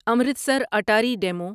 Amritsar Attari demo